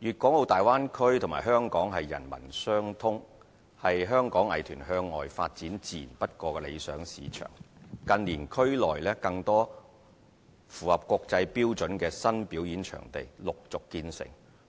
粵港澳大灣區和香港人文相通，是香港藝團向外發展自然不過的理想市場。近年區內更多符合國際標準的新表演場地陸續建成，